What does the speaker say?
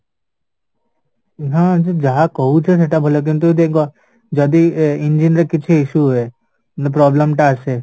ହଁ ଯାହା କହୁଚ ସେଇଟା ଭଲ କିନ୍ତୁ ଦେଖ ଯଦି engine ରେ କିଛି issue ହୁଏ ନ problem ଟା ଆସେ